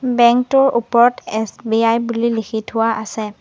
Bank টোৰ ওপৰত SBI বুলি লিখি থোৱা আছে।